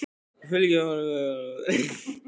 Fylgir honum með augunum upp úr tröppunum.